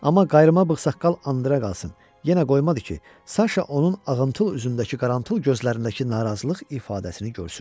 Amma qayırma bığsaqqal andıra qalsın, yenə qoymadı ki, Saşa onun ağımtul üzündəki qarantıl gözlərindəki narazılıq ifadəsini görsün.